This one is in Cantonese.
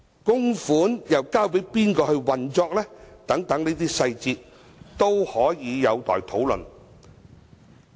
供款又交給誰來運作等細節都有待討論。